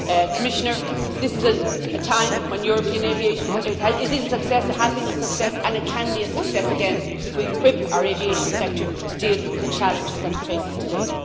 Commissioner, this is a time when European aviation is a success, it has been a success and it can be a success again if we equip our aviation sector to deal with the challenges that it faces today.